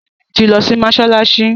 Sanni tí lọ si Mossalassi